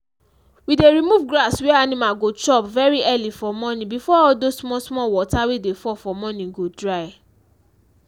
we dey remove grass wey animal go chop very early for morning before all those small small water wey dey fall for morning go dry.